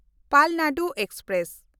Palnadu express